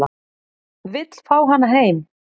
Vill fá hana heim